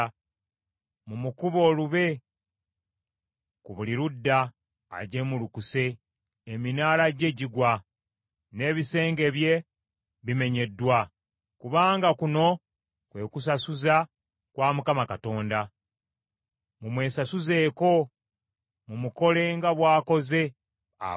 Mumukube olube ku buli ludda. Ajeemulukuse, eminaala gye gigwa, n’ebisenge bye bimenyeddwa. Kubanga kuno kwe kwesasuza kwa Mukama Katonda, mumwesasuzeeko; mumukole nga bw’akoze abalala.